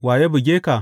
Wa ya buge ka?